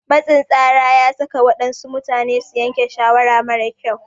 Matsin tsara ya saka waɗansu mutane su yanke shawara mara kyau.